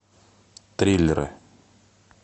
триллеры